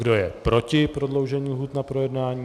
Kdo je proti prodloužení lhůty na projednání?